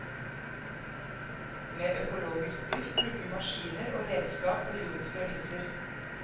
Med økologisk drift bruker vi maskiner og redskap på jordens premisser.